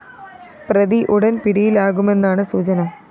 പ്രതി ഉടന്‍ പിടിയിലാകുമെന്നാണ് സൂചന